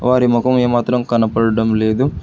వారి ముఖం ఏమాత్రం కనబడటం లేదు.